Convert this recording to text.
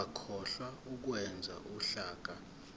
ungakhohlwa ukwenza uhlaka